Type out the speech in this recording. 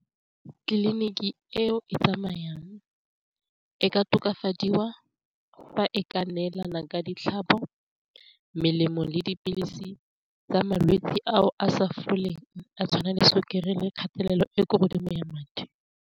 Tliliniki eo e tsamayang e ka tokafadiwa fa e ka neelana ka ditlhatlhobo, melemo, le dipilisi tsa malwetse ao a sa foleng a tshwana le sukiri le kgatelelo e ko godimo ya madi.